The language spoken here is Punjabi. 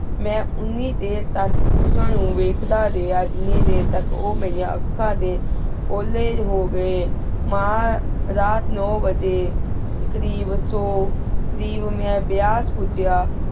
ਮੈਂ ਉਨੀ ਦੇਰ ਤਕ ਉਨਾ ਨੂ ਵੇਖਦਾ ਰਿਹਾ ਜੇਨਿ ਦੇਰ ਤਕ ਉਮੇਰਿਯਾਂ ਆਖਾਂ ਡੀ ਉਲੀ ਹੂ ਗੀ ਮਾਨ ਰਾਤ ਨੂੰ ਵਜੀ ਏਕ ਰੀ ਵਸੁੰ ਰੇਵ ਮੈਂ ਵੇਆਸ ਭੁਜੇਯਾ